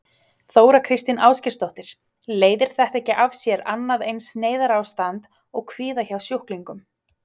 Þóra Kristín Ásgeirsdóttir: Leiðir þetta ekki af sér annað eins neyðarástand og kvíða hjá sjúklingum?